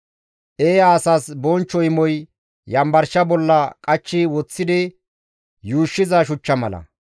Eeya asas bonchcho imoy yanbarsha bolla qachchi woththidi yuushshiza shuchcha mala.